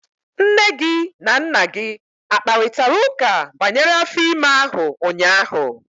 Nne gị na Nna gị akparịtara ụka banyere afọ ime ahụ ụnyahụ?